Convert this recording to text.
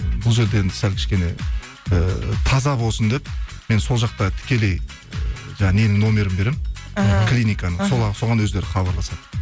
бұл жерде енді сәл кішкене ыыы таза болсын деп мен сол жақта тікелей жаңағы ненің номерін беремін ііі клиниканың соған өздері хабарласады